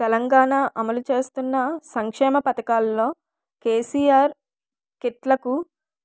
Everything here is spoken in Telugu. తెలంగాణ అమలు చేస్తున్న సంక్షేమ పథకాల్లో కెసిఆర్ కిట్లకు